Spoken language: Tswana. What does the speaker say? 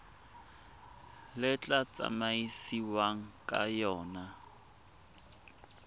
le tla tsamaisiwang ka yona